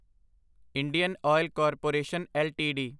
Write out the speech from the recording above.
Indian oil corporation LTD